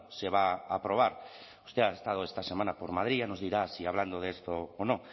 se va a aprobar usted ha estado esta semana por madrid ya nos dirá si hablando de esto o no